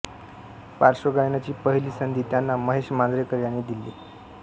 पार्श्वगायनाची पहिली संधी त्यांना महेश मांजरेकर यांनी दिली